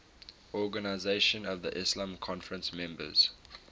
organisation of the islamic conference members